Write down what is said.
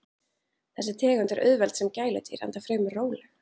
Þessi tegund er auðveld sem gæludýr enda fremur róleg.